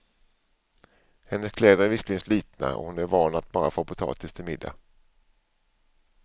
Hennes kläder är visserligen slitna och hon är van att bara få potatis till middag.